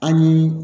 An ye